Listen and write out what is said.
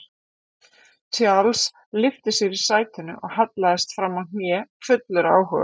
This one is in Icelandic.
Charles lyfti sér í sætinu og hallaðist framá hnén fullur áhuga